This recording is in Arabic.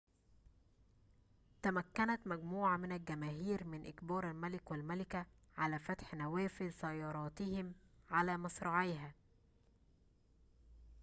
تمكنت مجموعة من الجماهير من إجبار الملك والملكة على فتح نوافذ سيارتهم على مصراعيها